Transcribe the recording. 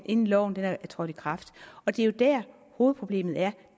inden loven er trådt i kraft og det er jo der hovedproblemet er